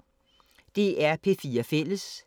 DR P4 Fælles